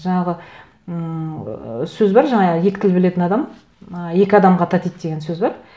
жаңағы ыыы сөз бар жаңағы екі тіл білетін адам ы екі адамға татиды деген сөз бар